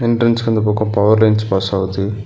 என்ட்ரன்ஸ்க்கு அந்த பக்கோ power lines pass ஆவுது.